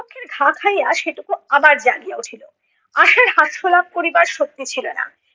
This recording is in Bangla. পক্ষের ঘা খাইয়া সেটুকু আবার জাগিয়া উঠিলো। আশার হাস্যলাভ করিবার শক্তি ছিলো না।